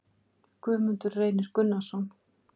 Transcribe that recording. Guðmundur Reynir Gunnarsson